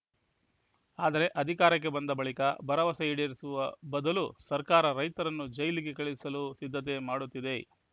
ಆದರೆ ಅಧಿಕಾರಕ್ಕೆ ಬಂದ ಬಳಿಕ ಭರವಸೆ ಈಡೇರಿಸುವ ಬದಲು ಸರ್ಕಾರ ರೈತರನ್ನು ಜೈಲಿಗೆ ಕಳುಹಿಸಲು ಸಿದ್ಧತೆ ಮಾಡುತ್ತಿದೆ